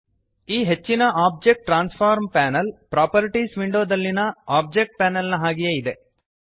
ಈ ಹೆಚ್ಚಿನ object transform panel properties ವಿಂಡೋದಲ್ಲಿಯ ಒಬ್ಜೆಕ್ಟ್ ಪ್ಯಾನೆಲ್ನ ಹಾಗೆಯೇ ಇದೆ